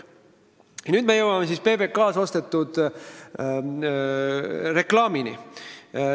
Nüüd jõuame PBK-lt ostetud reklaamini.